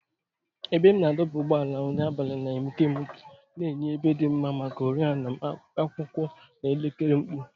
Ebe a na-adọba ụgbọala n'abalị na-egbuke egbuke, na-enye ebe dị mma maka oriọna m, akwụkwọ, na elekere mkpu.